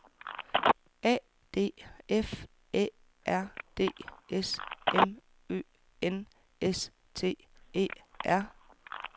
A D F Æ R D S M Ø N S T E R